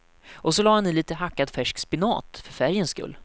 Och så lade han i lite hackad färsk spenat för färgens skull.